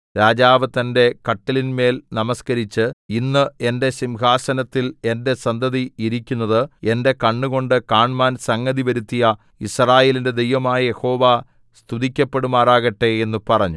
രാജാവ് തന്റെ കട്ടിലിന്മേൽ നമസ്കരിച്ച് ഇന്ന് എന്റെ സിംഹാസനത്തിൽ എന്റെ സന്തതി ഇരിക്കുന്നത് എന്റെ കണ്ണുകൊണ്ട് കാണ്മാൻ സംഗതി വരുത്തിയ യിസ്രായേലിന്റെ ദൈവമായ യഹോവ സ്തുതിക്കപ്പെടുമാറാകട്ടെ എന്ന് പറഞ്ഞു